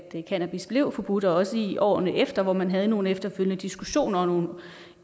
cannabis blev forbudt og også i årene efter hvor man havde nogle efterfølgende diskussioner og nogle